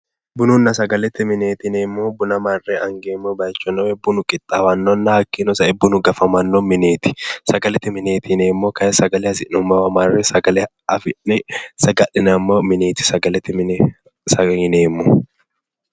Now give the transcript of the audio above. Bununna sagalete mineeti yineemmohu buna marre angeemmowana hakiino sae buna qixxaawannowa ikkanana hakiino sae bunu gafamanno mineeti sagalete mineeti yineemmohu hasi'nommo sagale marre saga'lineemmo mineeti.